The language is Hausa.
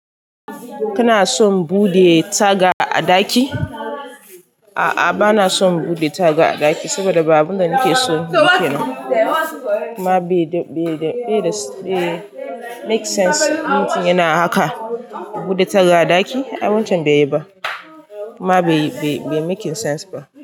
Kana son bude taga a daki? A'a bana son bude taga a daki saboda ba abun da nake so ba kenan. Ma bai da, bai da, bai make sense. Mutum yana haka, bude taga a ɗaki? Abun can bai yi ba. Ma bai, bai making sense ba.